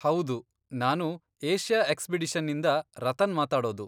ಹೌದು, ನಾನು ಏಷ್ಯಾ ಎಕ್ಸ್ಪಿಡಿಷನ್ನಿಂದ ರತನ್ ಮಾತಾಡೋದು.